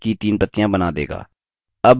यह पेड़ की this प्रतियाँ बना देगा